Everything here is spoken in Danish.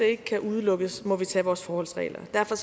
ikke kan udelukkes må vi tage vores forholdsregler derfor